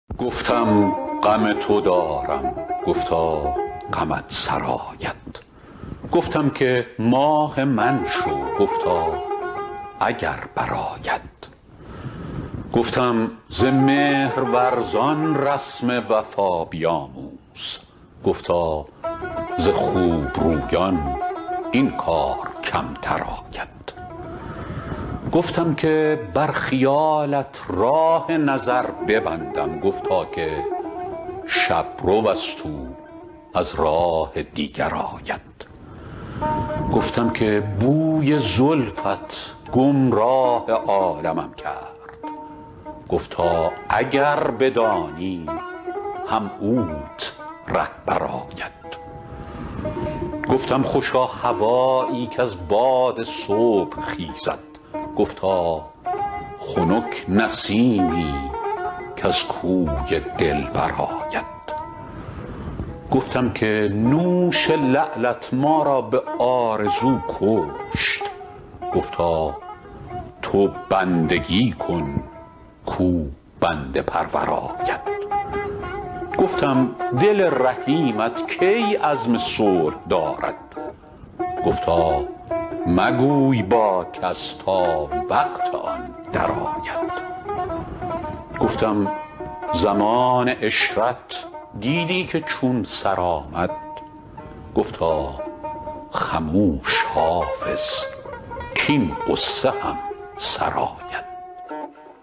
گفتم غم تو دارم گفتا غمت سرآید گفتم که ماه من شو گفتا اگر برآید گفتم ز مهرورزان رسم وفا بیاموز گفتا ز خوب رویان این کار کمتر آید گفتم که بر خیالت راه نظر ببندم گفتا که شب رو است او از راه دیگر آید گفتم که بوی زلفت گمراه عالمم کرد گفتا اگر بدانی هم اوت رهبر آید گفتم خوشا هوایی کز باد صبح خیزد گفتا خنک نسیمی کز کوی دلبر آید گفتم که نوش لعلت ما را به آرزو کشت گفتا تو بندگی کن کاو بنده پرور آید گفتم دل رحیمت کی عزم صلح دارد گفتا مگوی با کس تا وقت آن درآید گفتم زمان عشرت دیدی که چون سر آمد گفتا خموش حافظ کـاین غصه هم سر آید